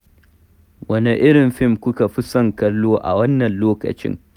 Wane irin fim kuka fi son kallo a wannan lokacin?